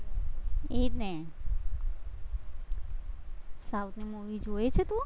એ જ ને south ની movie જુએ છે તું?